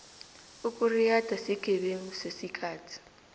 ukuriyada sigebengu sesikhathi